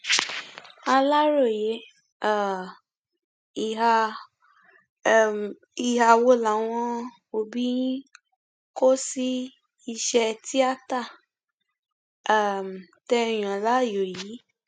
aláròye um ìhà um ìhà wo làwọn òbí yín kò sí iṣẹ tíátá um tẹ ẹ yàn láàyò yìí